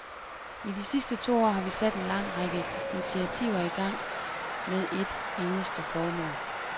I de sidste to år har vi sat en lang række initiativer i gang med et eneste formål.